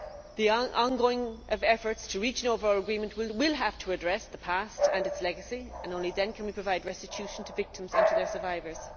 The ongoing efforts to reach an overall agreement will have to address the past and its legacy and only then can we provide restitution to victims and to their survivors.